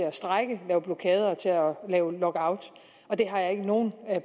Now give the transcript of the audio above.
at strejke lave blokader og lave lockout og det har jeg ikke nogen